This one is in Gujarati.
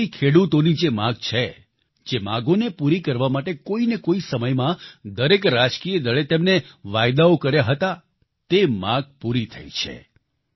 વર્ષોથી ખેડૂતોની જે માગ છે જે માગોને પૂરી કરવા માટે કોઈને કોઈ સમયમાં દરેક રાજકીય દળે તેમને વાયદાઓ કર્યા હતા તે માગ પૂરી થઈ છે